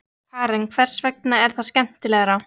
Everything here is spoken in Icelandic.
Karen: Hvers vegna er það skemmtilegra?